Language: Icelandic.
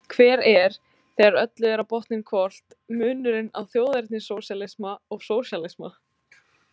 Hver er, þegar öllu er á botninn hvolft, munurinn á þjóðernissósíalisma og sósíalisma?